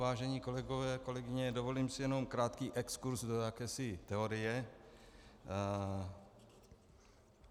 Vážení kolegové, kolegyně, dovolím si jenom krátký exkurz do jakési teorie.